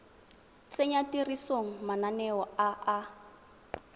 tsenya tirisong mananeo a a